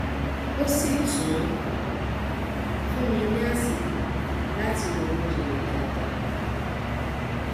ó sì tún fún mi ní àsìkò láti ronú jinlẹ dáadáa